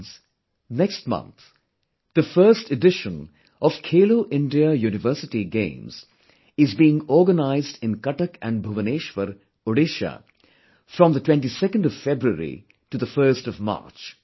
Friends, next month, the first edition of 'Khelo India University Games' is being organized in Cuttack and Bhubaneswar, Odisha from 22nd February to 1st March